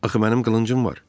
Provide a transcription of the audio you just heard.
Axı mənim qılıncım var.